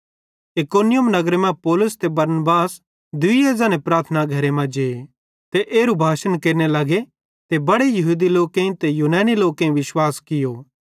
इकुनियुम नगरे मां पौलुस ते बरनबास दुइये ज़ने प्रार्थना घरे मां जे ते एरू भाषण केरने लगे ते बड़े यहूदी लोकेईं ते यूनानी लोकेईं विश्वास कियो